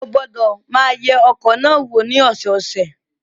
Ó gbọ́dọ̀ máa yẹ ọkọ̀ náà wò ní ọ̀sọ̀ọ̀sẹ̀.